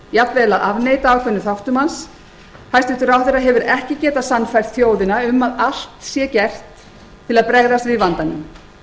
jafnvel að afneita ákveðnum þáttum hans hæstvirtur ráðherra hefur ekki getað sannfært þjóðina um að allt sé gert til að bregðast við vandanum